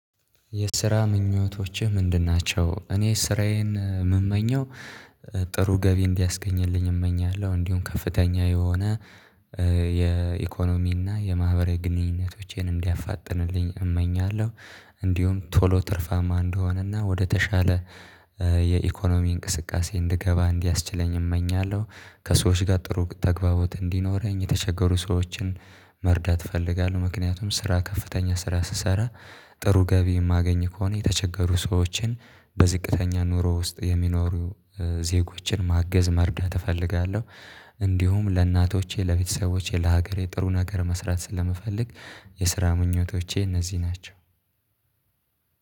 የስራ ምኞቶችህ ምንድን ናቸው? እኔ ስራዬን የምመኘው ጥሩ ገቢ እንዲያስገኝልኝ እመኛለሁ እንዲሁ ከፍተኛ የሆነ የኢኮኖሚና የማህበራዊ ግንኙነቶቼን እንዲያፋጥንልኝ እመኛለሁ። እንዲሁም ቶሎ ትርፋማ እንደሆንና ወደተሻለ የኢኮኖሚ እንቅስቃሴ እንድገባ እንዲያስችለኝ እመኛለሁ። ከሰዎች ጋር ጥሩ ተግባቦት እንዲኖረኝ የተቸገሩ ሰዎችን መርዳት እፈልጋለሁ። ምክንያቱም ስራ ከፍተኛ ስራ ስሰራ ጥሩ ገቢ የማገኝ ከሆነ የተቸገሩ ሰዎችን በዝቅተኛ ኑሮ ውስጥ የሚኖሩ ዜጎችን ማገዝ መርዳት እፈልጋለሁ። እንዲሁም ለእናቶቼ ለቤተሰቦቼ ለሀገሬ ጥሩ ነገር መስራት ስለምፈልግ የስራ ምኞቶቼ እነዚህ ናቸው።